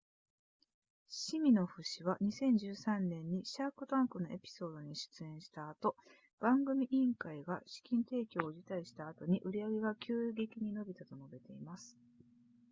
シミノフ氏は2013年にシャークタンクのエピソードに出演した後番組委員会が資金提供を辞退した後に売上が急激に伸びたと述べています